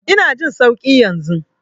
Ina jin sauƙi yanzu.